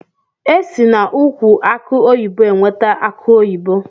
Esi na ụkwụ akụ oyibo enweta akụ oyibo.